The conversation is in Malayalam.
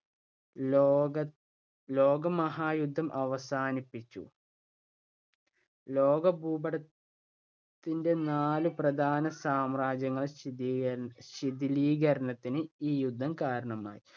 ലോകം ലോകമഹായുദ്ധം അവസാനിപ്പിച്ചു. ലോകഭൂപട ത്തിന്‍റെ നാല് പ്രധാന സാമ്രാജ്യങ്ങൾ ശിഥീകരശിഥീലികരണത്തിന് ഈ യുദ്ധം കാരണമായി.